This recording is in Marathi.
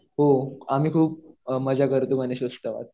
हो. आम्ही खूप मजा करतो गणेश उत्सवात.